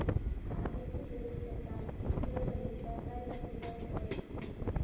आजची लोकसत्ता पुरवणी वाचायला सुरुवात कर